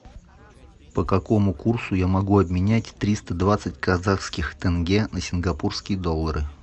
по какому курсу я могу обменять триста двадцать казахских тенге на сингапурские доллары